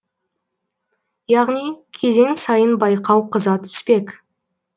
яғни кезең сайын байқау қыза түспек